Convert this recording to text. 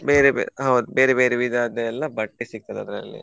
ಬೇರೆ ಬೇರೆ ಹೌದ್ ಬೇರೆ ಬೇರೆ ವಿಧವಾದದೆಲ್ಲ ಬಟ್ಟೆ ಸಿಕ್ತದೆ ಅದ್ರಲ್ಲಿ.